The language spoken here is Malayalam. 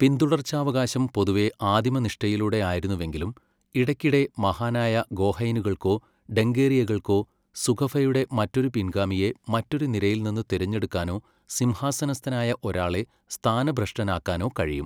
പിന്തുടർച്ചാവകാശം പൊതുവെ ആദിമനിഷ്ഠയിലൂടെയായിരുന്നുവെങ്കിലും ഇടയ്ക്കിടെ മഹാനായ ഗോഹൈനുകൾക്കോ ഡംഗേറിയകൾക്കോ സുകഫയുടെ മറ്റൊരു പിൻഗാമിയെ മറ്റൊരു നിരയിൽ നിന്ന് തിരഞ്ഞെടുക്കാനോ സിംഹാസനസ്ഥനായ ഒരാളെ സ്ഥാനഭ്രഷ്ടനാക്കാനോ കഴിയും.